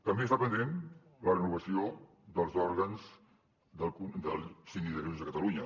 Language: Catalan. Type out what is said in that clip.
també està pendent la renovació dels òrgans del síndic de greuges de catalunya